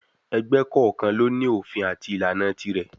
Ẹgbẹ́ kọ̀ọ̀kan ló ní òfin àti ìlànà tirẹ̀.